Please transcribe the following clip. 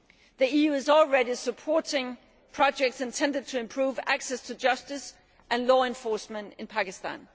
The EU is already supporting projects intended to improve access to justice and law enforcement in Pakistan.